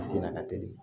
A senna ka teli